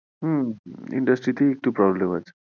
হম industry তেই একটু problem আছে,